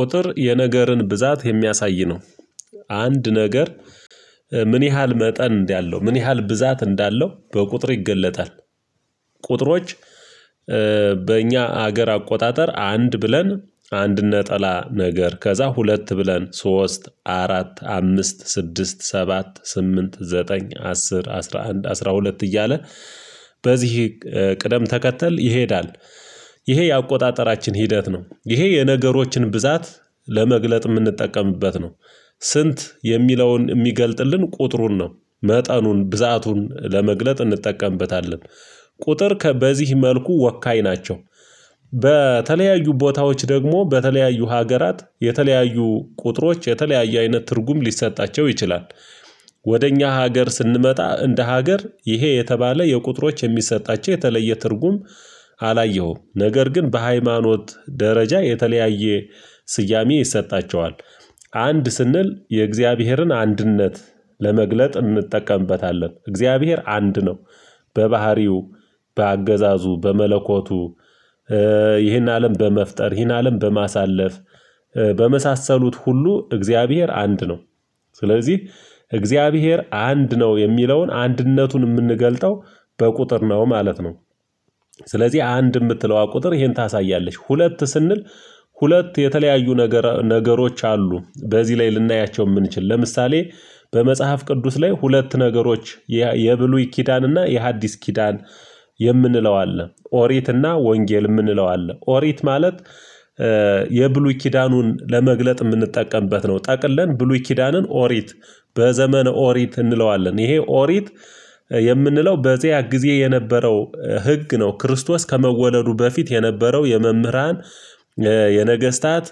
ቁጥር የነገርን ብዛት የሚያሳይ ነው። አንድ ነገር ምን ያህል መጠን እንዳለው ምን ያህል ብዛት እንዳለው በቁጥር ይገለጣል። ቁጥሮች በእኛ ሀገር አቆጣጠር አንድ ብለን አንድ ነጠላ ነገር ከዛ ሁለት ብለን ሶስት አራት አምስት ስድስት ሰባት ስምንት ዘጠኝ አስር አስራ አንድ አስራ ሁለት እያለ። በዚህ ቅደም ተከተል ይሄዳል። ይሄ የአቆጣጠራችን ሂደት ነው ይሄ የነገሮችን ብዛት ለመግለጥ የምንጠቀምበት ነው። ስንት የሚለውን የሚገልጥልን ቁጥሩን ነው መጠኑን ብዛቱን ለመግለጥ እንጠቀምበታለን። ቁጥር ከበዚህ መልኩ ወካይ ናቸው። በ ተለያየ ቦታዎች ደግሞ በተለያዩ ሀገራት የተለያዩ ቁጥሮች የተለያየ አይነት ትርጉም ሊሰጣቸው ይችላል። ወደ እኛ ሀገር ስንመጣ እንደ ሀገር ይሄ የተባለ የቁጥሮች የሚሰጣቸው የተለየ ትርጉም አላየሁም። ነገር ግን በሃይማኖት ደረጃ የተለያየ ስያሜ ይሰጣቸዋል። አንድ ስንል የእግዚአብሔርን አንድነት ለመግለጥ እንጠቀምበታለን እግዚአብሔር አንድ ነው። በባህሪው በአገዛዙ በመለኮቱ ይህን አለም በመፍጠር ይህን አለም በማሳለፍ በመሳሰሉት ሁሉ እግዚአብሔር አንድ ነው። ስለዚህ እግዚአብሔር አንድ ነው የሚለውን አንድነቱን የምንገልጠው በቁጥር ነው ማለት ነው። ስለዚህ አንድ የምትለዋ ቁጥር ይሄን ታሳያለች። ሁለት ስንል ሁለት የተለያዩ ነገር ነገሮች አሉ በዚህ ላይ ልናያቸው የምንችል ለምሳሌ በመጽሐፍ ቅዱስ ላይ ሁለት ነገሮች የብሉይ ኪዳንና የሐዲስ ኪዳን። የምንለው አለ ኦሪትና ወንጌል የምንለው አለ ኦሪት ማለት የብሉይ ኪዳኑን ለመግለጥ የምንጠቀምበት ነው ጠቅለን ብሉይ ኪዳንን ኦሪት። በዘመነ ኦሪት እንለዋለን ይሄ ኦሪት። የምንለው በዚያ ጊዜ የነበረው ህግ ነው ክርስቶስ ከመወለዱ በፊት የነበረው የመምህራን የነገስታት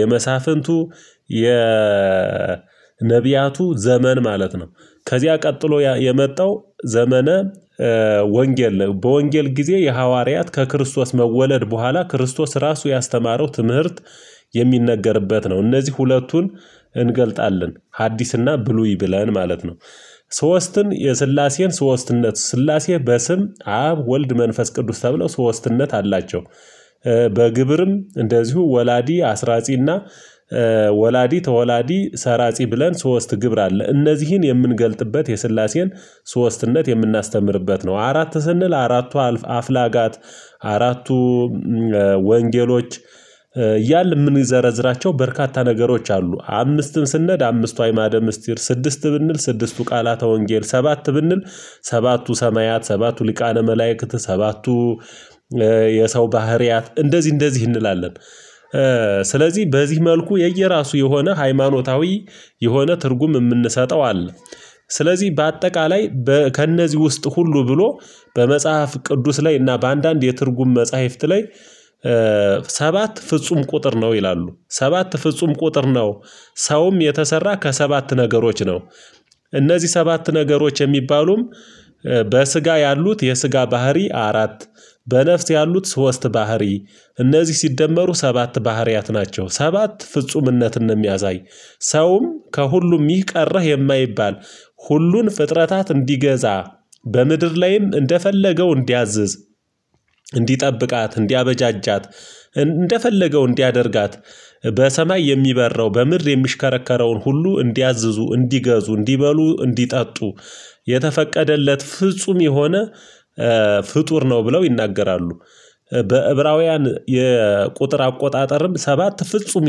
የመሳፍንቱ የነብያቱ ዘመን ማለት ነው። ከዚያ ቀጥሎ የመጣው ዘመነ ወንጌል ነው። በወንጌል ጊዜ የሐዋርያት ከክርስቶስ መወለድ በኋላ ክርስቶስ ራሱ ያስተማረው ትምህርት የሚነገርበት ነው። እነዚህ ሁለቱን እንገልጣለን ሀዲስና ብሉይ ብለን ማለት ነው። ሶስትን የስላሴን ሶስትነት ስላሴ በስም አብ ወልድ መንፈስ ቅዱስ ተብለው ሶስትነት አላቸው። በግብርም እንደዚሁ ወላዲ አስራጺና ወላዲ ተወላዲ ሰራጺ ብለን ሶስት ግብር አለ እነዚህን የምንገልጥበት የስላሴን ሶስትነት የምናስተምርበት ነው። አራት ስንል አራቱ አልፍ አፍላጋት አራቱ ወንጌሎች እያልን የምንዘረዝራቸው በርካታ ነገሮች አሉ። አምስትም ስንሄድ አምስቱ አእማደ ምስጢር ስድስት ብንል ስድስቱ ቃላተ ወንጌል ሰባት ብንል ሰባቱ ሰማያት ሰባቱ ሊቃነ መላእክት ሰባቱ የሰው ባህሪያት እንደዚህ እንደዚህ እንላለን። ስለዚህ በዚህ መልኩ የየራሱ የሆነ ሃይማኖታዊ የሆነ ትርጉም የምንሰጠው አለ። ስለዚህ በአጠቃላይ በ ከእነዚህ ውስጥ ሁሉ ብሎ በመጽሐፍ ቅዱስ ላይ እና በአንዳንድ የትርጉም መጽሐፍት ላይ ሰባት ፍጹም ቁጥር ነው ይላሉ ሰባት ፍጹም ቁጥር ነው። ሰውም የተሰራ ከሰባት ነገሮች ነው። እነዚህ ሰባት ነገሮች የሚባሉም በስጋ ያሉት የስጋ ባህሪ አራት በነፍስ ያሉት ሶስት ባህሪ እነዚህ ሲደመሩ ሰባት ባህሪያት ናቸው። ሰባት ፍጹምነትን ነው የሚያሳይ። ሰውም ከሁሉም ይህ ቀረህ የማይባል ሁሉን ፍጥረታት እንዲገዛ በምድር ላይም እንደፈለገው እንዲያዝዝ እንዲጠብቃት እንዲያበጃጃት እንደፈለገው እንዲያደርጋት በሰማይ የሚበረው በምድር የሚሽከረከረውን ሁሉ እንዲያዝዙ እንዲገዙ እንዲበሉ እንዲጠጡ የተፈቀደለት ፍጹም የሆነ ፍጡር ነው ብለው ይናገራሉ። በዕብራውያን የቁጥር አቆጣጠርም ሰባት ፍጹም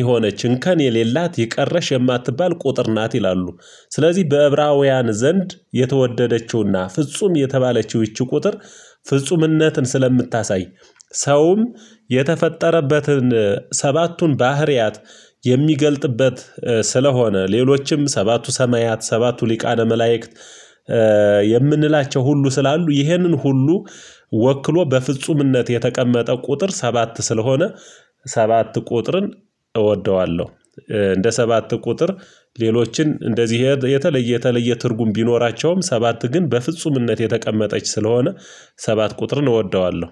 የሆነች እንከን የሌላት ይህ ቀረሽ የማትባል ቁጥር ናት ይላሉ። ስለዚህ በዕብራውያን ዘንድ የተወደደችውና ፍጹም የተባለችው ይቺ ቁጥር ፍጹምነትን ስለምታሳይ ሰውም የተፈጠረበትን ሰባቱን ባህሪያት የሚገልጥበት ስለሆነ ሌሎችም ሰባቱ ሰማያት ሰባቱ ሊቃነ መላእክት የምንላቸው ሁሉ ስላሉ ይህንን ሁሉ ወክሎ በፍጹምነት የተቀመጠ ቁጥር ሰባት ስለሆነ። ሰባት ቁጥርን እንደ ሰባት ቁጥር ሌሎችን እንደዚህ የተለየ የተለየ ትርጉም ቢኖራቸውም ሰባት ግን በፍጹምነት የተቀመጠች ስለሆነ ሰባት ቁጥርን እወደዋለሁ